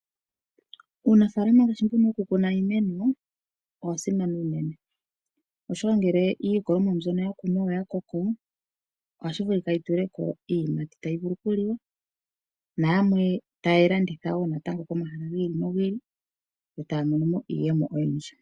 Uunafaalama ngaashi mbu woku kuna iimeno owa simana unene oshoka ngele iikunomwa mbyono ya kunwa oya koko, ohashi vulika yi tuleko iiyimati tayi vulu oku liwa. Na yamwe ta ya landitha wo natango komahala gi ili nogi ili, taya mono mo iiyemo oyindji.